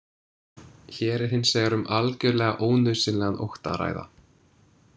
Hér er hins vegar um algjörlega ónauðsynlegan ótta að ræða.